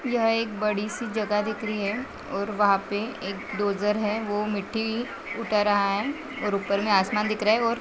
यह एक बड़ी सी जगह दिख रही है और वहाँ पे एक है वो मिट्टी उठा रहा है और ऊपर मे आसमान दिख रहा है और--